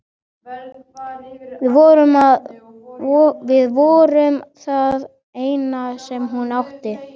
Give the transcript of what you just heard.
Við vorum það eina sem hún átti.